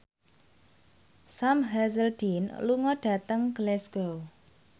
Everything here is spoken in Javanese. Sam Hazeldine lunga dhateng Glasgow